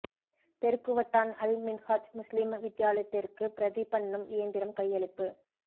பெருக்குவட்டான் அல் மின்ஹாஜ் முஸ்லிம் வித்தியாலயத்திற்கு பிரதி பண்ணும் இயந்திரம் கையளிப்பு